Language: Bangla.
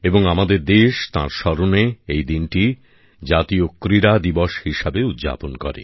এবং আমাদের দেশ তাঁর স্মরণে এই দিনটি জাতীয় ক্রীড়া দিবস হিসেবে উদযাপন করে